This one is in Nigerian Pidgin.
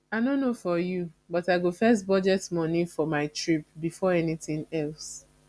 i no know for you but i go first budget money for my trip before anything else